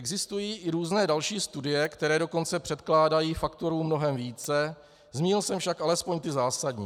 Existují i různé další studie, které dokonce předkládají faktorů mnohem více, zmínil jsem však alespoň ty zásadní.